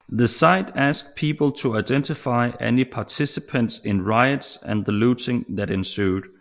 The site asks people to identify any participants in riots and the looting that ensued